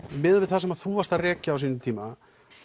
miðað við það sem þú varst að rekja á sínum tíma